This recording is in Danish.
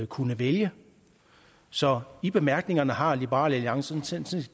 kunne vælge så i bemærkningerne har liberal alliance